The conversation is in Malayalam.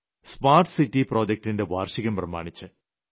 സ്മാർട്ട് സിറ്റി പ്രോജക്ടിന്റെ ഉദ്ഘാടനം പ്രമാണിച്ച്